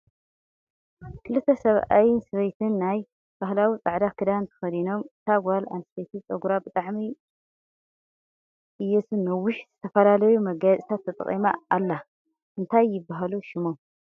ክለተ ሰብኣይ ሰበይቲ ናይ ባህላዊ ፃዕዳ ክዳን ተከዲኖም እታ ጎል አንስትየቲ ፀጉራ ብጣዐሚ እየቱ ነዊሕን ዝተፈላለዩ መጋየፅታት ተጠቂማ ኣላ ። እንታይ ይብሃሉ ሽሞም?